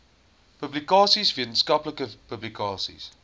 publikasies wetenskaplike publikasies